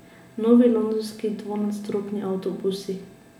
Novi londonski dvonadstropni avtobusi.